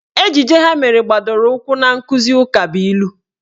Ejije ha mere gbadoro ụkwụ na nkụzi ukabụilu